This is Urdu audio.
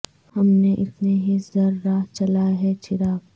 ہم نے اتنے ہی سر راہ جلائے ہیں چراغ